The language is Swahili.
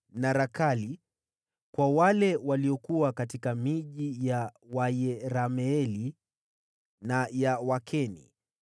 na Rakali; kwa wale waliokuwa katika miji ya Wayerameeli na ya Wakeni;